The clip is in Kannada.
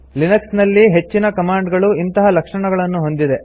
ಲಿನಕ್ಸ್ ನಲ್ಲಿ ಹೆಚ್ಚಿನ ಕಮಾಂಡ್ ಗಳು ಇಂತಹ ಲಕ್ಷಣಗಳನ್ನು ಹೊಂದಿದೆ